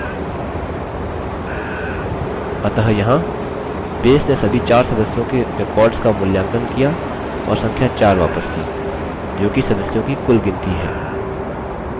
अतः यहाँ base ने सभी 4 सदस्यों के records का मूल्यांकन किया और संख्या 4 वापस की जोकि सदस्यों की कुल गिनती है